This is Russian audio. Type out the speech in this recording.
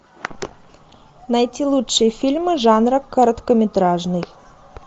найти лучшие фильмы жанра короткометражный